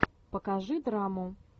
покажи драму